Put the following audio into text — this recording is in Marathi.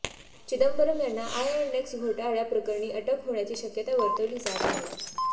चिदंबरम यांना आयएनएक्स घोटाळ्या प्रकरणी अटक होण्याची शक्यता वर्तवली जात आहे